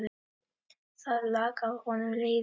Það lak af honum leiði.